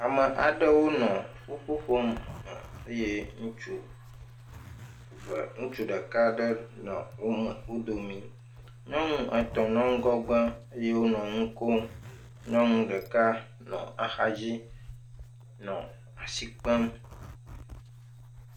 Ame aɖewo nɔ nuƒo ƒom eye ŋutsu eve, ŋutsu ɖeka ɖe nɔ wome, wo dome. Nyɔnu etɔ̃ nɔ ŋgɔgbe eye wonɔ nu kom. Nyɔnu ɖeka nɔ axadzi nɔ asi kpem.